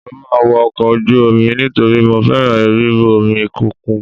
Mo máa wọ ọkọ̀ ojú omi nítorí mo fẹ́ràn ríru omi òkun.